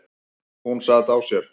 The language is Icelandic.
Hún sat á sér.